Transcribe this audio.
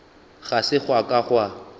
ga se gwa ka gwa